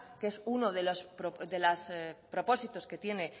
que es uno de los propósitos que tiene